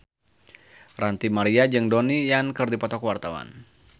Ranty Maria jeung Donnie Yan keur dipoto ku wartawan